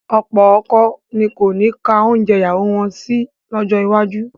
Ọ̀pọ̀ ọkọ ni kò ní ka oúnjẹ ìyàwó wọn sí lọ́jọ́ iwájú